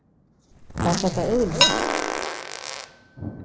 Er þetta eðlilegt?